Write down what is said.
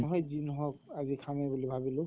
বহুত দিন হʼল আজি খামে বুলি ভাবিলো